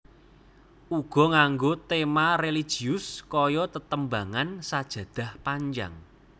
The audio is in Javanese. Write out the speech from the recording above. Uga nganggo tema religius kaya tetembangan Sajadah Panjang